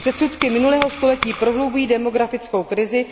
Předsudky minulého století prohlubují demografickou krizi.